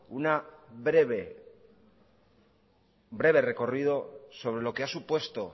un breve recorrido de lo que ha supuesto